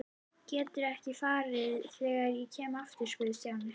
Geturðu ekki farið þegar ég kem aftur? spurði Stjáni.